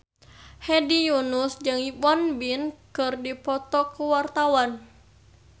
Hedi Yunus jeung Won Bin keur dipoto ku wartawan